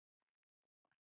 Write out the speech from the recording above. Þín, Tinna.